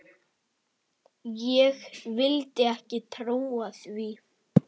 Ég vildi ekki trúa því.